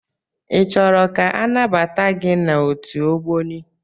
I chọrọ ka anabata gị n'otu Ogboni?